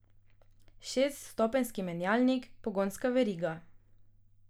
Šeststopenjski menjalnik, pogonska veriga.